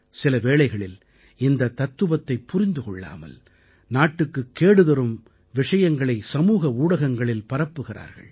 சில வேளைகளில் இந்தத் தத்துவத்தைப் புரிந்து கொள்ளாமல் நாட்டுக்குக் கேடுதரும் விஷங்களை சமூக ஊடகங்களில் பரப்புகிறார்கள்